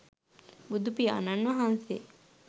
බුදුපියාණන් වහන්සේ